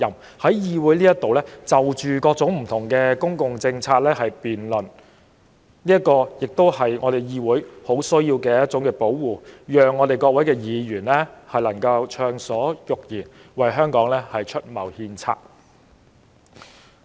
各位議員在議會就各種公共政策辯論時，也很需要受到保護，讓我們能夠暢所欲言，為香港出謀獻策。